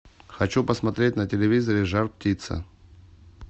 хочу посмотреть на телевизоре жар птица